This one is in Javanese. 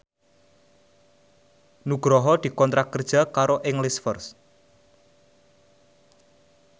Nugroho dikontrak kerja karo English First